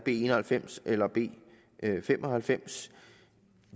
en og halvfems eller b fem og halvfems